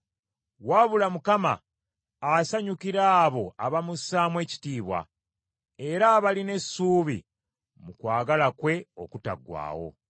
wabula Mukama asanyukira abo abamussaamu ekitiibwa, era abalina essuubi mu kwagala kwe okutaggwaawo.